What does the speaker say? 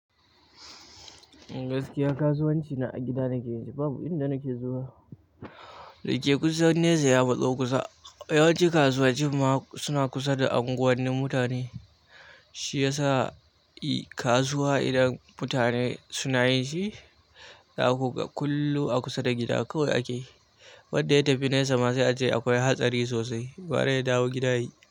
Gaskiya, kasuwanci na a gida nake yi. Babu inda nake zuwa. Dake kusan nesa ya matso kusa. Yawanci kasuwanci ma suna kusa da anguwanin mutane. Shi yasa i kasuwa idan mutane suna yinshi, za ku ga kullum a kusa da gida kawai ake. Wadda yatafi nesa ma sai ace akwai hatsari sosai. Gwara ya dawo gida yayi.